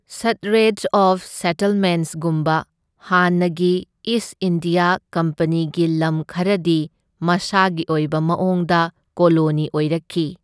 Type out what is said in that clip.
Straits of settlements ꯒꯨꯝꯕ ꯍꯥꯟꯅꯒꯤ East India ꯀꯝꯄꯅꯤꯒꯤ ꯂꯝ ꯈꯔꯗꯤ ꯃꯁꯥꯒꯤ ꯑꯣꯏꯕ ꯃꯑꯣꯡꯗ ꯀꯣꯂꯣꯅꯤ ꯑꯣꯏꯔꯛꯈꯤ꯫